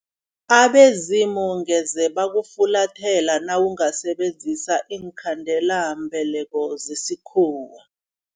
Abezimu ngeze bakufulathela nawungasebenzisa iinkhandelambeleko zesikhuwa.